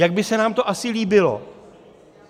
Jak by se nám to asi líbilo?